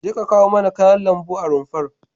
Jeka kawo mana kayan lambu a rumfar.